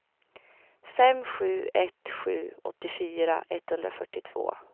fem sju ett sju åttiofyra etthundrafyrtiotvå